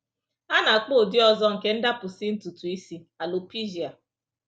A na-akpọ ụdị ọzọ nke ndapụsị ntutu isi alopecia.